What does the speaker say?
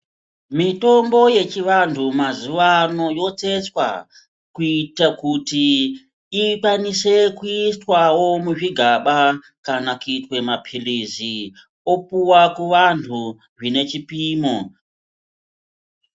Mitombo yechivantu mazuwano yotsetswa kuita kuti ikwanise kuiswawo muzvigaba kana kuitwe mapilizi opuwa kuvantu zvine chipimo.